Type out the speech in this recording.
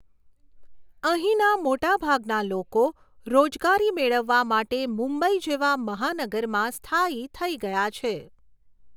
અહીંના મોટા ભાગના લોકો રોજગારી મેળવવા માટે મુંબઈ જેવા મહાનગરમાં સ્થાયી થઈ ગયા છે.